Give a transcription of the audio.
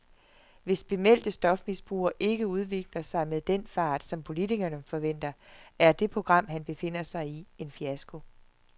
Hvis bemeldte stofmisbrugere ikke udvikler sig med den fart, som politikerne forventer, er det program, han befinder sig i, en fiasko.